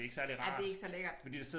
Ej det ikke så lækkert